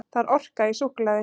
Það er orka í súkkulaði.